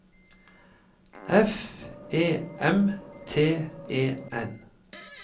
F E M T E N